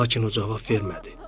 Lakin o cavab vermədi.